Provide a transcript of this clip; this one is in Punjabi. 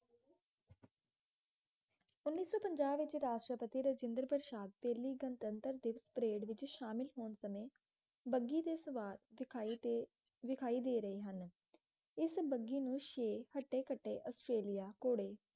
ਉੱਨੀ ਸੌ ਪੰਜਾਹ ਵਿੱਚ ਰਾਸ਼ਟਰਪਤੀ ਰਾਜੇਂਦਰ ਪ੍ਰਸਾਦ ਦਿੱਲੀ ਗਣਤੰਤਰ ਦਿਵਸ ਪਰੇਡ ਸ਼ਾਮਿਲ ਹੋਣ ਸਮੇਂ ਬੱਘੀ ਤੇ ਸਵਾਰ ਦਿਖਾਈ ਤੇ ਦਿਖਾਈ ਦੇ ਰਹੇ ਹਨ ਇਸ ਬੱਘੀ ਨੂੰ ਛੇ ਹੱਟੇ ਕੱਟੇ ਆਸਟ੍ਰੇਲੀਆ ਘੋੜੇ